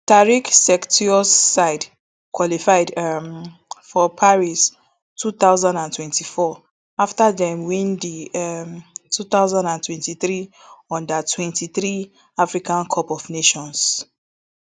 tarik sektiouis side qualified um for paris two thousand and twenty-four afta dem win di um two thousand and twenty-three undertwenty-three africa cup of nations